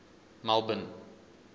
melbourne